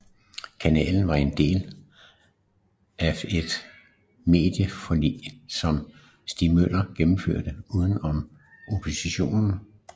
Kanalen var en del af et medieforlig som Stig Møller gennemførte uden om oppositionen